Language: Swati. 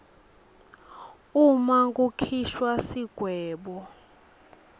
uma kukhishwa sigwebo